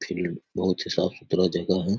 Field बहुत ही साफ सुथरा जगह है।